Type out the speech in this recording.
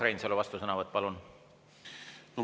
Urmas Reinsalu, vastusõnavõtt, palun!